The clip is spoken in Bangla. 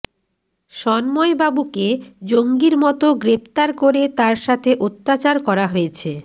সন্ময়বাবুকে জঙ্গির মতো গ্রেফতার করে তাঁর সাথে অত্যাচার করা হয়েছে